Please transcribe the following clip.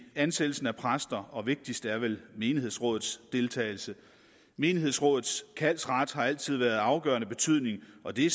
ansættelsen af præster og vigtigst er vel menighedsrådets deltagelse menighedsrådets kaldsret har altid været af afgørende betydning og det